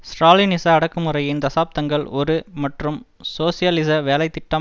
ஸ்ராலினிச அடக்குமுறையின் தசாப்தங்கள் ஒரு மற்றும் சோசியலிச வேலை திட்டம்